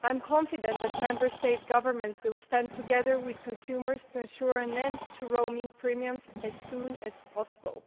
I am confident that Member States' governments will stand together with consumers to ensure an end to roaming premiums as soon as possible.